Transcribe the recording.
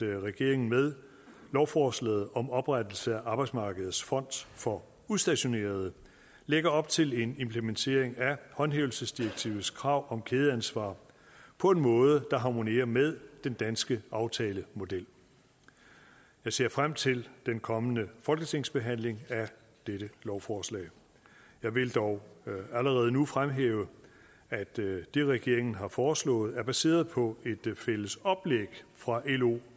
regeringen med lovforslaget om oprettelse af arbejdsmarkedets fond for udstationerede lægger op til en implementering af håndhævelsesdirektivets krav om kædeansvar på en måde der harmonerer med den danske aftalemodel jeg ser frem til den kommende folketingsbehandling af dette lovforslag jeg vil dog allerede nu fremhæve at det regeringen har foreslået er baseret på et fælles oplæg fra lo